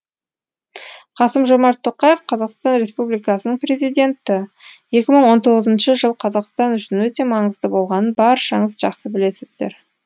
қасым жомарт тоқаев қазақстан республикасының президенті екі мың он тоғызыншы жыл қазақстан үшін өте маңызды болғанын баршаңыз жақсы білесіздер